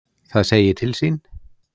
Það segi til sín.